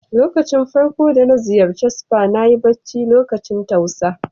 Da farko da na ziyace spa, na yi bacci lokacin tausa.